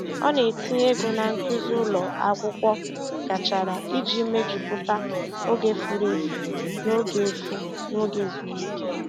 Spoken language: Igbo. Ọ na-etinye ego na nkuzi ụlọ akwụkwọ gachara iji mejupụta oge furu efu n'oge efu n'oge ezumike.